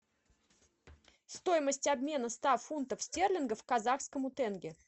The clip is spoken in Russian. стоимость обмена ста фунтов стерлингов к казахскому тенге